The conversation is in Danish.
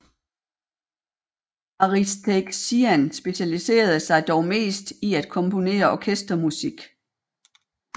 Aristakesyan specialiserede sig dog mest i at komponere orkestermusik